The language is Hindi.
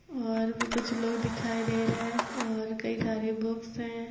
और भी कुछ लोग दिखाई दे रहे हैं और कई सारी बुक्स हैं |